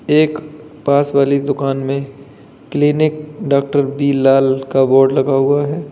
एक पास वाली दुकान में क्लीनिक डॉक्टर बि लाल का बोर्ड लगा हुआ है।